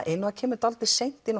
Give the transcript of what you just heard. inn og kemur dálítið seint inn